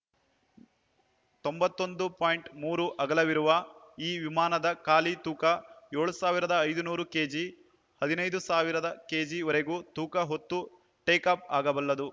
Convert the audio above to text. ತೊಂಬತ್ತ್ ಒಂದು ಪಾಯಿಂಟ್ ಮೂರು ಅಗಲವಿರುವ ಈ ವಿಮಾನದ ಖಾಲಿ ತೂಕ ಏಳ್ ಸಾವಿರದ ಐದುನೂರು ಕೆಜಿಹದಿನೇಳು ಸಾವಿರ ಕೆಜಿವರೆಗೂ ತೂಕ ಹೊತ್ತು ಟೇಕಾಫ್‌ ಆಗಬಲ್ಲದು